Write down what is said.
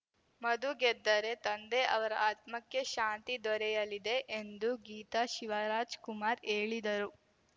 ಮಧು ಗೆದ್ದರೆ ತಂದೆ ಅವರ ಆತ್ಮಕ್ಕೆ ಶಾಂತಿ ದೊರೆಯಲಿದೆ ಎಂದು ಗೀತಾ ಶಿವರಾಜಕುಮಾರ್‌ ಹೇಳಿದರು